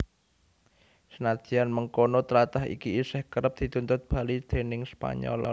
Senadyan mengkono tlatah iki isih kerep dituntut bali déning Spanyol